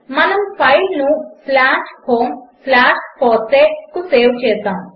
మనము ఫైల్ను homefossee కు సేవ్ చేసాము